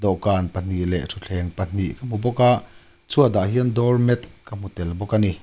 dawhkan pahnih leh thuthleng pahnih ka hmu bawk a chhuat ah hian doormat ka hmu tel bawk ani.